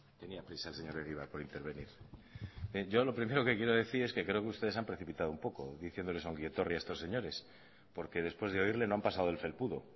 tenía prisa el señor egibar por intervenir bien yo lo primero que quiero decir es que yo creo que ustedes se han precipitado un poco diciéndole ongi etorri a estos señores porque después de oírle no han pasado del felpudo